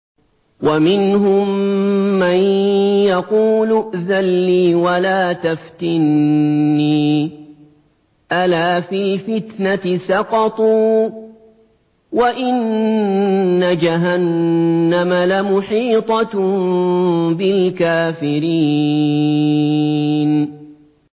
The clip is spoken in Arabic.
وَمِنْهُم مَّن يَقُولُ ائْذَن لِّي وَلَا تَفْتِنِّي ۚ أَلَا فِي الْفِتْنَةِ سَقَطُوا ۗ وَإِنَّ جَهَنَّمَ لَمُحِيطَةٌ بِالْكَافِرِينَ